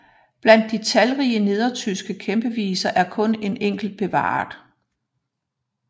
Blandt de talrige nedertyske kæmpeviser er kun en enkelt bevaret